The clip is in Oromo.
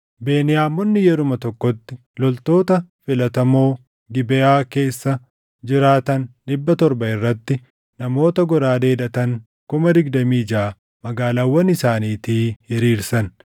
Beniyaamonni yeruma tokkotti loltoota filatamoo Gibeʼaa keessa jiraatan dhibba torba irratti namoota goraadee hidhatan kuma digdamii jaʼa magaalaawwan isaaniitii hiriirsan.